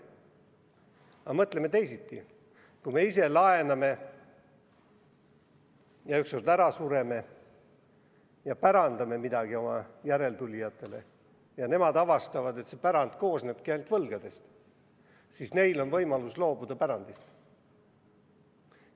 Aga mõtleme teisiti: kui me ise laename, ükskord ära sureme, pärandame midagi oma järeltulijatele ja nemad avastavad, et see pärand koosnebki ainult võlgadest, siis neil on võimalus pärandist loobuda.